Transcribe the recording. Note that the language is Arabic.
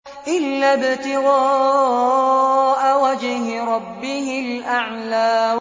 إِلَّا ابْتِغَاءَ وَجْهِ رَبِّهِ الْأَعْلَىٰ